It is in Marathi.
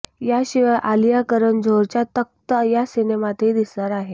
याशिवाय आलिया करण जोहरच्या तख्त या सिनेमातही दिसणार आहे